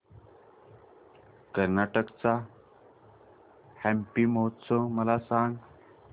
कर्नाटक चा हम्पी महोत्सव मला सांग